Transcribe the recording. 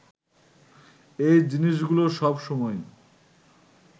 এই জিনিসগুলো সব সময়ই